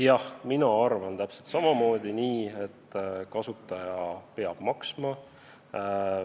Jah, mina arvan täpselt samamoodi, et kasutaja peab maksma.